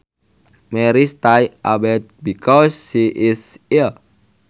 Mary stays abed because she is ill